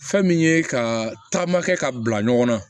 Fɛn min ye ka taama kɛ ka bila ɲɔgɔn na